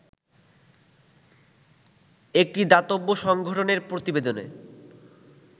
একটি দাতব্য সংগঠনের প্রতিবেদনে